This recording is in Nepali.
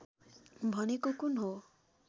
भनेको कुन हो